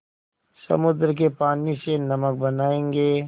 समुद्र के पानी से नमक बनायेंगे